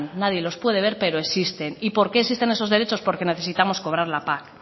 nadie los puede ver pero existen y por qué existen esos derechos porque necesitamos cobrar la pac